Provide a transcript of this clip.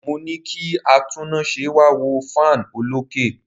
Mo ní kí atúnnáse wá wo fan olókè.